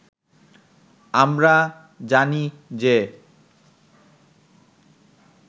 আমরা জানি যে